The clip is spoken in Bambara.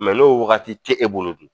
n'o wagati te e bolo dun?